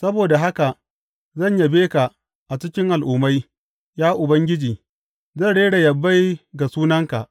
Saboda haka zan yabe ka a cikin al’ummai, ya Ubangiji; zan rera yabai ga sunanka.